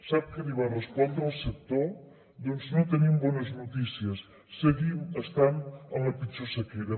sap què li va respondre el sector doncs no tenim bones notícies seguim estant en la pitjor sequera